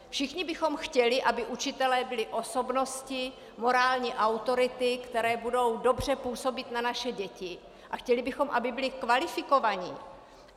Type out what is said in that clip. Všichni bychom chtěli, aby učitelé byli osobnosti, morální autority, které budou dobře působit na naše děti, a chtěli bychom, aby byli kvalifikovaní.